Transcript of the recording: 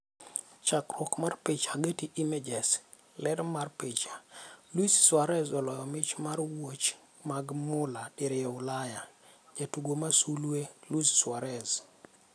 Chakruok mar picha, Getty Images. Ler mar picha, Luis Suarez oloyo mich mar wuoch mag mula diriyo Ulaya. Jatugo masulwe: Luis Suarez.